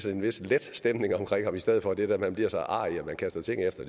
en vis let stemning omkring ham i stedet for det der med at blive så arrig at man kaster ting efter